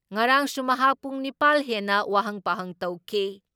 ꯉꯔꯥꯡꯁꯨ ꯃꯍꯥꯛ ꯄꯨꯡ ꯅꯤꯄꯥꯜ ꯍꯦꯟꯅ ꯋꯥꯍꯪ ꯄꯥꯎꯍꯪ ꯇꯧꯈꯤ ꯫